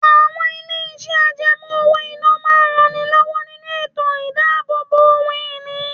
Àwọn ilé iṣẹ́ àjẹmó owó-ìná máa ń ran ni lówó nínú ètò idabobo ohun ìní.